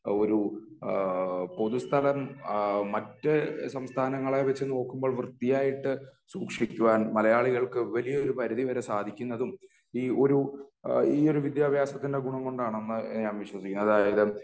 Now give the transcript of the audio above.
ഇഹ് ഒരു ഈഹ് പൊതുസ്ഥലം മറ്റ് സംസ്ഥാനങ്ങളെ വെച്ച് നോക്കുമ്പോൾ വൃത്തിയായിട്ട് സൂക്ഷിക്കുവാൻ മലയാളികൾക്ക് വലിയൊരു പരിധി വരെ സാധിക്കുന്നതും ഈ ഒരു ഇഹ് ഈയൊരു വിദ്യാഭ്യാസത്തിൻ്റെ ഗുണം കൊണ്ടാണെന്ന് ഇഹ് ഞാൻ വിശ്വസിക്കുന്നു അതായത്